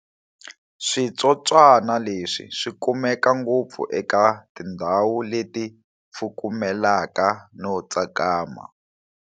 Switsotswana leswi swi kumeka ngopfu eka tindhawu leti fukumelaka no tsakama.